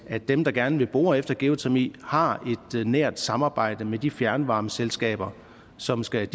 at dem der gerne vil bore efter geotermi har et nært samarbejde med de fjernvarmeselskaber som skal